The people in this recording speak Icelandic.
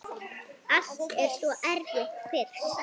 Allt er svo erfitt fyrst.